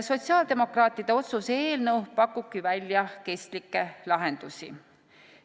" Sotsiaaldemokraatide otsuse eelnõu pakubki välja kestlikke lahendusi.